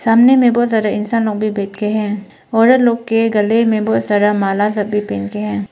सामने में बहुत सारे इंसान भी बैठ के हैं। औरत लोग के गले में बहुत सारा माला सब भी पहन के हैं।